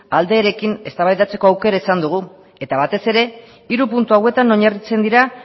aldeekin eztabaidatzeko aukera izan dugu eta batez ere hiru puntu hauetan oinarritzen dira